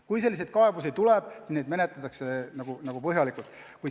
Kui selliseid kaebusi tuleb, siis neid menetletakse põhjalikult.